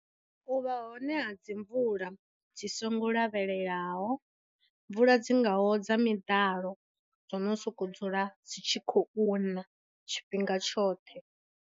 U vha hone ha dzimvula tshi songo lavhelelwaho, mvula dzingaho dza miḓalo, dzo no sokou dzula dzi tshi khou na tshifhinga tshoṱhe.